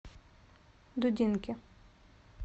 дудинки